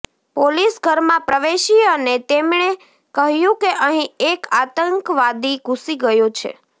police ઘરમાં પ્રવેશી અને તેમણે કહ્યું કે અહીં એક આતંકવાદી ઘૂસી ગયો છે